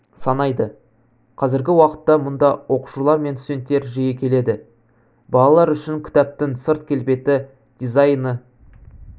санайды қазіргі уақытта мұнда оқушылар мен студенттер жиі келеді балалар үшін кітаптың сырт келбеті дизайны